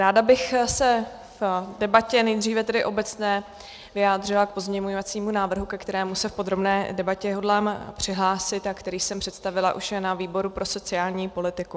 Ráda bych se v debatě, nejdříve tedy obecné, vyjádřila k pozměňovacímu návrhu, ke kterému se v podrobné debatě hodlám přihlásit a který jsem představila už na výboru pro sociální politiku.